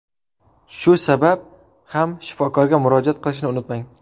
Shu sabab ham shifokorga murojaat qilishni unutmang.